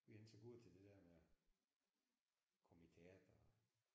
Vi er ikke så gode til det der med at komme i teateret